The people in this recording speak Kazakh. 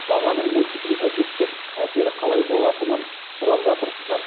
бағаның мультипликативтік әсері қалай болатынын сұрап жатырсыздар